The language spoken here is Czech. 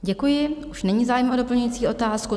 Děkuji, už není zájem o doplňující otázku.